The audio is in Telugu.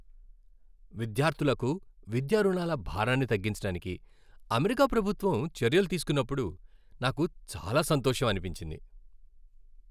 విద్యార్ధులకు విద్యా రుణాల భారాన్ని తగ్గించడానికి అమెరికా ప్రభుత్వం చర్యలు తీసుకున్నప్పుడు నాకు చాలా సంతోషం అనిపించింది.